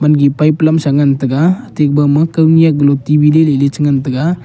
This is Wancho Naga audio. gipai pelamsa ngan tega ateku bama kawnyaklotibi leley ch ngan ta ga.